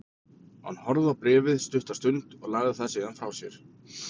Hann horfði á bréfið stutta stund, lagði það síðan frá sér.